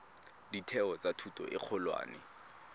ditheo tsa thuto e kgolwane